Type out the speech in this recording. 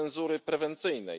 cenzury prewencyjnej.